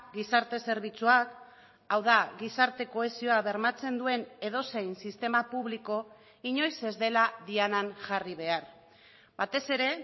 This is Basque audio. gizarte zerbitzuak hau da gizarte kohesioa bermatzen duen edozein sistema publiko inoiz ez dela dianan jarri behar batez ere